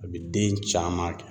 A bi den caman kɛ.